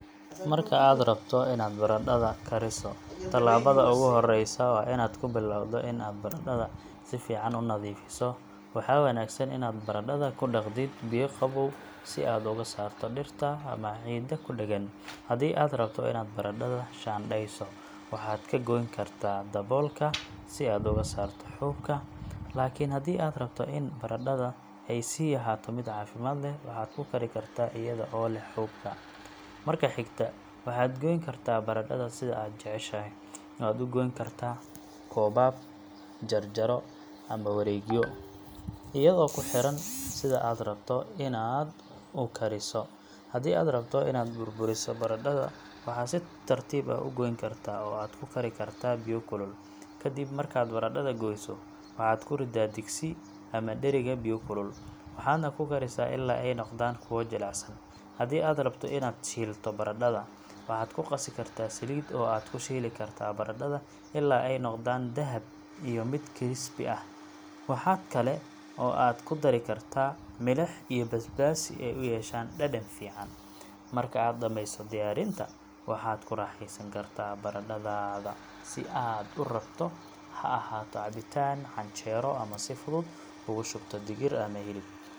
Marka aad rabto inaad baradhada kariso, tallaabada ugu horeysa waa inaad ku bilowdo in aad baradhada si fiican u nadiifiso. Waxaa wanaagsan inaad baradhada ku dhaqidid biyo qabow si aad uga saarto dhirta ama ciidda ku dhegan. Haddii aad rabto inaad baradhada shaandhayso, waxaad ka goyn kartaa daboolka si aad uga saarto xuubka, laakiin haddii aad rabto in baradhadaada ay sii ahaato mid caafimaad leh, waxaad ku kari kartaa iyada oo leh xuubka. Marka xigta, waxaad goyn kartaa baradhada sida aad jeceshahay—waad u goyn kartaa koobab, jarjaro ama wareegyo, iyadoo kuxiran sida aad u rabto inaad u kariso. Haddii aad rabto inaad burburiso baradhada, waxaad si tartiib ah u goyn kartaa oo aad ku kari kartaa biyo kulul. Ka dib markaad baradhada goyso, waxaad ku riddaa digsi ama dheriga biyo kulul, waxaadna ku karisaa ilaa ay noqdaan kuwo jilicsan. Haddii aad rabto inaad shiilto baradhada, waxaad ku qasi kartaa saliid oo aad ku shiili kartaa baradhada ilaa ay noqdaan dahab iyo mid crispy ah. Waxa kale oo aad ku dari kartaa milix iyo basbaas si ay u yeeshaan dhadhan fiican. Marka aad dhamayso diyaarinta, waxaad ku raaxeysan kartaa baradhadaada sida aad u rabto, ha ahaato cabitaan, canjeero, ama si fudud ugu shubto digir ama hilib.